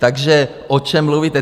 Takže o čem mluvíte?